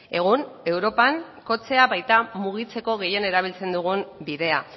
egun europan kotxea baita mugitzeko gehien erabiltzen dugun bidea